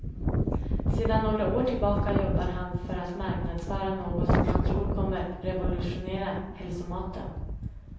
Sedan några år tillbaka jobbar han för att marknadsföra något som han tror kommer revolutionera hälsomaten.